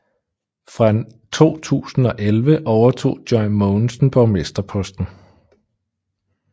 Fra 2011 overtog Joy Mogensen borgmesterposten